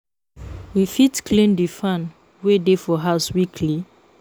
We fit clean di fan wey dey for house weekly